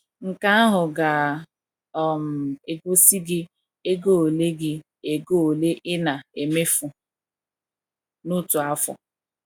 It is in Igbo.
Nke ahụ ga um - egosi gị ego ole gị ego ole ị na - emefu n’otu afọ.